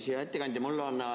Hea ettekandja!